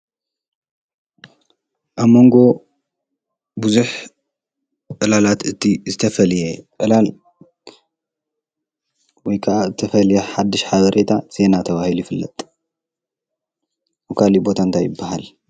አብ ሞንጎ ብዙሕ ዕላላት እቲ ዝተፈላለየ ዕላል ወይ ክዓ ዝተፈለየ ሓዱሽ ሓበሬታ ዜና ተባሂሉ ይፍለጥ፡፡ ኣብ ካሊእ ቦታ እንታይ ይባሃል?